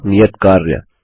व्यापक नियत कार्य